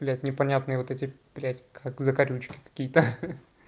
блять непонятные вот эти блять как закорючки какие-то